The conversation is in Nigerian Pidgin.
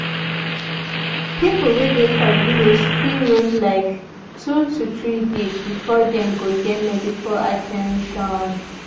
people wey dey for village fit wait like 2-3 days before dem go get medical at ten tion.